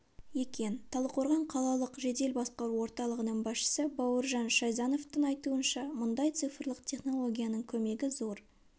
екен талдықорған қалалық жедел басқару орталығының басшысы бауыржан шайзановтың айтуынша мұндай цифрлық технологияның көмегі зор